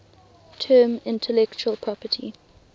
term intellectual property